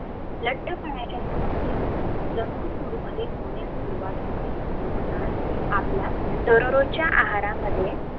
लठ्ठ पनाच्या समस्या जंक फूफ मध्ये होण्यास सुरवात होते म्हणूनच आपल्या दररोजच्या आहारमध्ये